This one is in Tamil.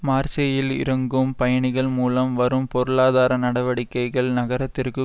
மார்சேயில் இறங்கும் பயணிகள் மூலம் வரும் பொருளாதார நடவடிக்கைகள் நகரத்திற்கு